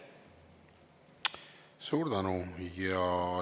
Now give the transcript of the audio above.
Suur tänu!